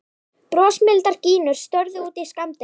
Brosmildar gínur störðu út í skammdegið.